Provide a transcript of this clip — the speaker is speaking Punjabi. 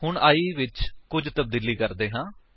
ਹੁਣ i ਵਿੱਚ ਕੁੱਝ ਤਬਦੀਲੀ ਕਰਦੇ ਹਾਂ